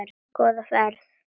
Góða ferð,